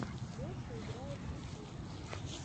леша играет ютьюб